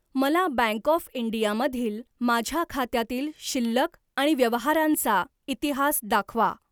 मला bank of India मधील माझ्या खात्यातील शिल्लक आणि व्यवहारांचा इतिहास दाखवा.